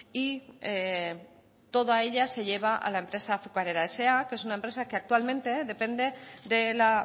y toda ella se lleva a la empresa azucarera sa que es una empresa que actualmente depende de la